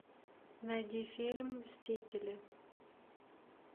найди фильм мстители